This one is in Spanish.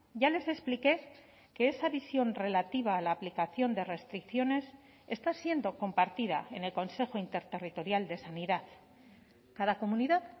ya les expliqué que esa visión relativa a la aplicación de restricciones está siendo compartida en el consejo interterritorial de sanidad cada comunidad